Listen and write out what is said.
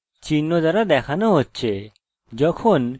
এটি হল guestbook tutorial থেকে গেস্টবুক